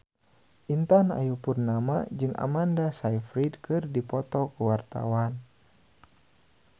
Intan Ayu Purnama jeung Amanda Sayfried keur dipoto ku wartawan